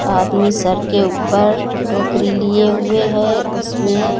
आदमी सर के ऊपर टोकरी लिए हुए है। उसमें --